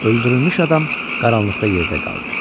Öldürülmüş adam qaranlıqda yerdə qaldı.